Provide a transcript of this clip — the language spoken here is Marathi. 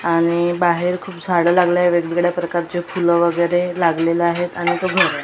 आणि बाहेर खूप झाडं लागलंय. वेगवेगळ्या प्रकारचे फुल वगैरे लागलेलं आहेत आणि इथं घर आहे.